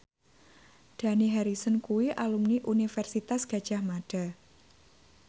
Dani Harrison kuwi alumni Universitas Gadjah Mada